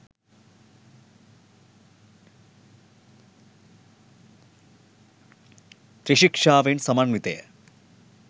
ත්‍රිශික්ෂාවෙන් සමන්විතය.